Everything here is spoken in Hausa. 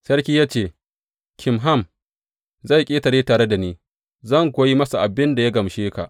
Sarki ya ce, Kimham zai ƙetare tare da ni, zan kuwa yi masa abin da ya gamshe ka.